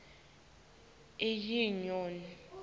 inyoni